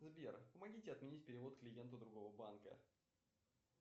сбер помогите отменить перевод клиенту другого банка